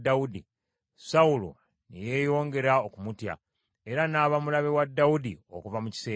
Sawulo ne yeeyongera okumutya, era n’aba mulabe wa Dawudi okuva mu kiseera ekyo.